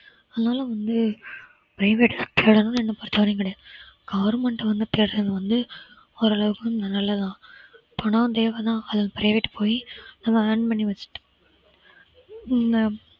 அதனால வந்து private பொறுத்தவரைக்கும் கிடையாது government வந்து வந்து ஓரளவுக்கு நல்லதுதான் பணம் தேவைதான் அதுக்கு private போயி அதை earn பண்ணி வச்சுட்டு